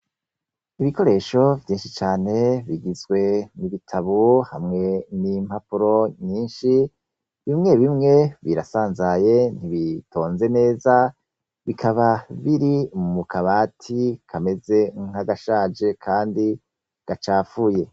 Ibikoresho vyinshi cane bigizwe nibitabu hamwe n'impapuro nyinshi bimwe bimwe birasanzaye ntibitonze neza bikaba biri mu mukabati kameze nk'agashaje, kandi gacafuye.